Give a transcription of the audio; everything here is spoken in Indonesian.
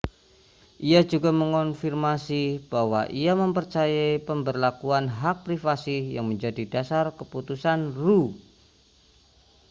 ia juga mengonfirmasi bahwa ia mempercayai pemberlakuan hak privasi yang menjadi dasar keputusan roe